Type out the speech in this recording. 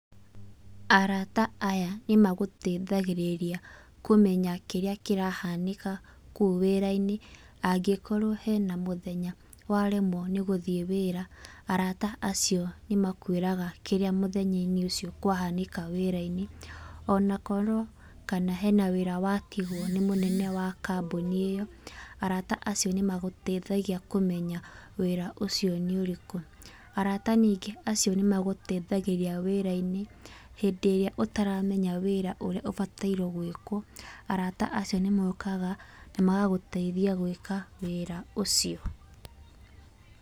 Arata aya nĩmagũteithagĩrĩria kũmenya kĩrĩa kĩrahanĩka kũu wĩra-inĩ, angĩkorwo hena mũthenya waremwo nĩ gũthiĩ wĩra, arata acio nĩmakwĩraga kĩrĩa mũthenya-inĩ ũcio kwahanĩka wĩra-inĩ. Ona korwo kana hena wĩra watigũo nĩ mũnene wa kambũni ĩyo, arata acio nĩmagũteithagia kũmenya wĩra ũcio nĩ ũrĩkũ. Arata ningĩ acio nĩmagũteithagĩrĩria wĩra-inĩ, hĩndĩ ĩrĩa ũtaramenya wĩra ũrĩa ũbataire gwĩkwo, arata acio nĩmokaga na magagũteithia gwĩka wĩra ũcio.